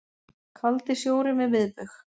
Kaldi sjórinn við miðbaug